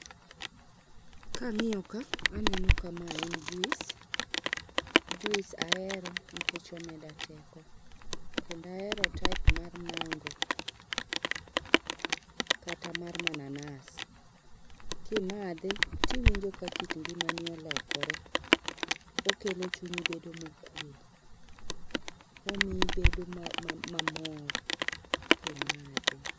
Kangiyo ka aneno ka mae en juice. Juice ahero nikech omeda teko kendo ahero type mar mango kata mar mananas. Kimadhe tiwinjo ka kit ngimani olokore. Okelo chunyi bedo mokwe. Omiyi obedo mamor kimadhe